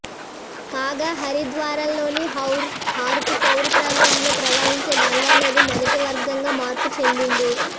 కాగా హరిద్వార్లోని హర్ కి పౌరి ప్రాంతంలో ప్రవహించే గంగానది మొదటి వర్గంగా మార్పు చెందింది